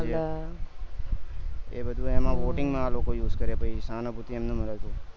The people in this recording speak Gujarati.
એ બધું એમાં voting માં use કરે પૈસા ને એ બધું એમ નેમ